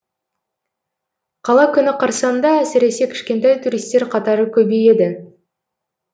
қала күні қарсаңында әсіресе кішкентай туристер қатары көбейеді